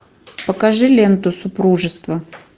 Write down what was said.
покажи ленту супружество